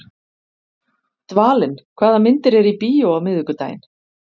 Dvalinn, hvaða myndir eru í bíó á miðvikudaginn?